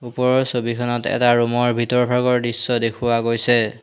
ওপৰৰ ছবিখনত এটা ৰুম ৰ ভিতৰৰ ভাগৰ দৃশ্য দেখুওৱা গৈছে।